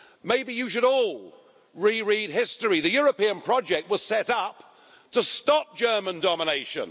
Maybe you should all reread history the European project was set up to stop German domination.